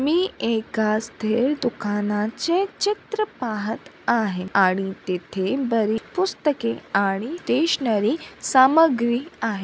मी एका दुकानाचे चित्र पाहत आहे आणि तेथे बरी पुस्तके आणि स्टेशनरी सामग्री आहे.